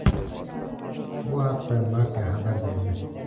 Bu haqda Marca xabar berdi .